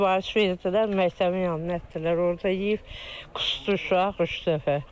Sifariş verdilər, məktəbin yanına gətirdilər, orda yeyib qusdu uşaq üç dəfə.